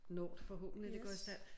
Når det forhåbentlig går i stand